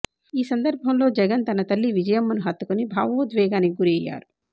ఈ సందర్భంలో జగన్ తన తల్లి విజయమ్మను హత్తుకుని భావోద్వేగానికి గురయ్యారు